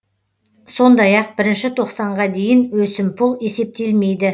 сондай ақ бірінші тоқсанға дейін өсімпұл есептелмейді